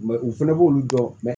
u fɛnɛ b'olu dɔn